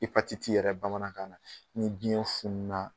yɛrɛ bamanankan na ni biɲɛ funu na